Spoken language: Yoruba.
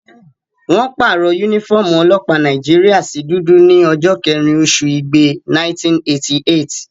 Wọ́n pàrọ̀ yúnífọ́ọ̀mù ọlọ́pàá Nàìjíríyà sí dúdú ní ọjọ́ kẹ́rin oṣù igbe, 1988